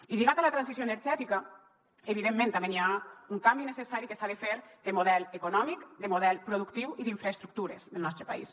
i lligat a la transició energètica evidentment també hi ha un canvi necessari que s’ha de fer de model econòmic de model productiu i d’infraestructures del nostre país